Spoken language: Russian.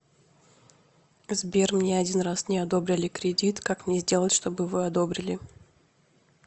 сбер мне один раз не одобрили кредит как мне сделать чтобы вы одобрили